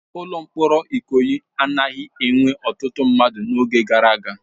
Ụlọ mkpọrọ Ikoyi anaghị enwe ọtụtụ mmadụ n'oge gara aga.